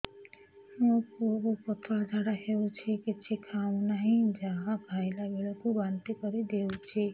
ମୋ ପୁଅ କୁ ପତଳା ଝାଡ଼ା ହେଉଛି କିଛି ଖାଉ ନାହିଁ ଯାହା ଖାଇଲାବେଳକୁ ବାନ୍ତି କରି ଦେଉଛି